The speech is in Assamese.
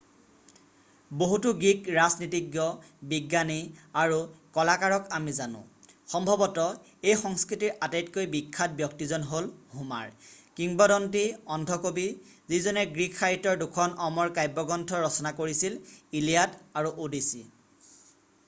বহুতো গ্ৰীক ৰাজনীতিজ্ঞ বিজ্ঞানী আৰু কলাকাৰক আমি জানো সম্ভৱত এই সংস্কৃতিৰ আটাইতকৈ বিখ্যাত ব্যক্তিজন হ'ল হোমাৰ কিম্বদন্তি অন্ধ কবি যিজনে গ্ৰীক সাহিত্যৰ দুখন অমৰ কাব্যগ্ৰন্থ ৰচনা কৰিছিল ইলিয়াড আৰু অ'ডিচি